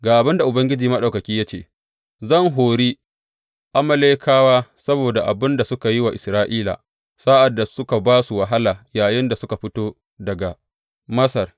Ga abin da Ubangiji Maɗaukaki ya ce, Zan hori Amalekawa saboda abin da suka yi wa Isra’ila sa’ad da suka ba su wahala yayinda suka fito daga Masar.